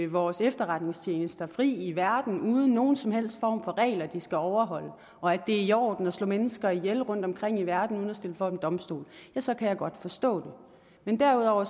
vores efterretningstjenester fri i verden uden nogen som helst form for regler de skal overholde og at det er i orden at slå mennesker ihjel rundt omkring i verden uden at stille dem for en domstol så kan jeg godt forstå det men derudover